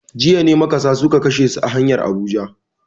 Jiya ne makasa suka kashe su a hanyar Abuja.